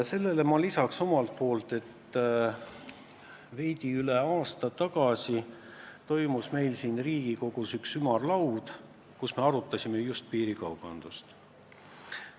Sellele ma lisan omalt poolt, et veidi üle aasta tagasi toimus meil siin Riigikogus üks ümarlaud, kus me arutasime just piirikaubandust.